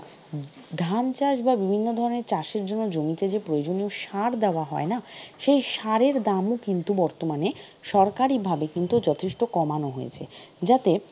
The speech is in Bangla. ধান চাষ বা বিভিন্ন ধরনের চাষের জন্য জমিতে যে প্রয়োজনীয় সার দেওয়া হয়না, সেই সারের দাম ও কিন্তু বর্তমানে সরকারিভাবে কিন্তু যথেষ্ট কমানো হয়েছে যাতে,